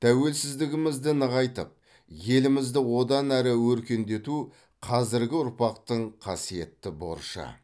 тәуелсіздігімізді нығайтып елімізді одан әрі өркендету қазіргі ұрпақтың қасиетті борышы